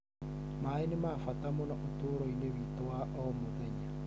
Maĩ nĩ ma bata mũno ũtũũro-inĩ witũ wa o mũthenya.